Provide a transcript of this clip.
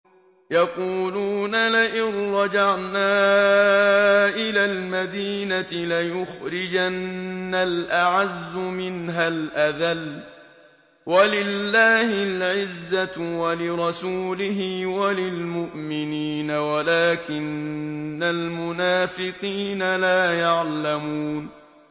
يَقُولُونَ لَئِن رَّجَعْنَا إِلَى الْمَدِينَةِ لَيُخْرِجَنَّ الْأَعَزُّ مِنْهَا الْأَذَلَّ ۚ وَلِلَّهِ الْعِزَّةُ وَلِرَسُولِهِ وَلِلْمُؤْمِنِينَ وَلَٰكِنَّ الْمُنَافِقِينَ لَا يَعْلَمُونَ